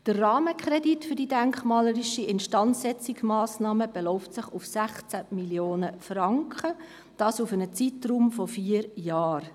Der Rahmenkredit für die denkmalpflegerischen Instandsetzungsmassnahmen beläuft sich auf 16 Mio. Franken, dies für einen Zeitraum von vier Jahren.